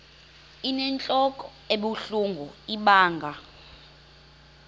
inentlok ebuhlungu ibanga